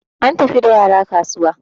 an tafi da yara kasuwa